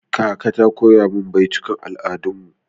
Kaka ta koya min baitukan al'adar mu.